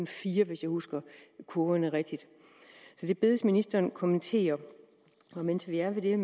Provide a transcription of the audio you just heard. fire hvis jeg husker kurverne rigtigt så det bedes ministeren kommentere mens vi er ved